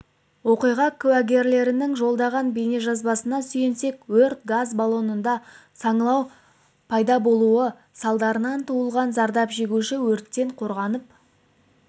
оқиғакуәгерлерінің жолдаған бейнежазбасына сүйенсек өрт газ баллонында саңылау пайда болуы салдарынан туындаған зардап шегуші өрттен қорғанып